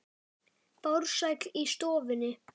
Farsæll í störfum sínum.